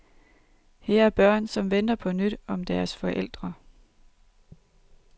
Her er børn, som venter på nyt om deres forældre.